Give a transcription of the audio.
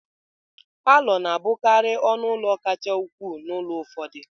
Palọ na-abụkarị ọnụ ụlọ kacha ukwuu n'ụlọ ụfọdụ